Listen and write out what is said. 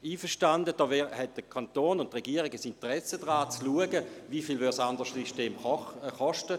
Einverstanden, der Kanton und die Regierung haben ein Interesse daran, zu schauen, wie viel das andere System kosten würde.